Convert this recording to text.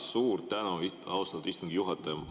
Suur tänu, austatud istungi juhataja!